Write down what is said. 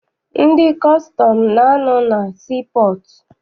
Ndị kọstọm na- anọ na sii pọọtụ.